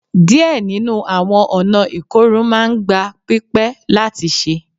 Diẹ ninu awọn ọna ikorun maa n gba pipẹ lati ṣe